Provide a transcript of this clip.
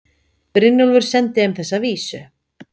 Brynjólfur sendi þeim þessa vísu